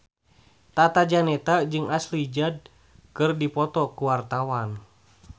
Tata Janeta jeung Ashley Judd keur dipoto ku wartawan